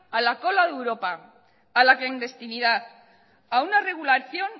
a la cola de europa a la clandestinidad a una regulación